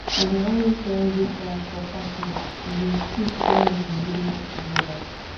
i dey always join group dance for parties e dey sweet when we dey groove together